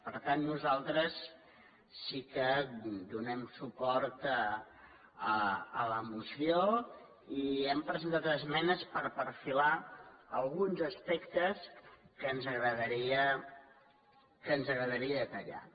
per tant nosaltres sí que donem suport a la moció i hi hem presentat esmenes per perfilar alguns aspectes que ens agradaria detallar